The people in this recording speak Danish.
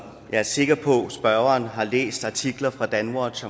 jeg er sikker på at spørgeren har læst artikler fra danwatch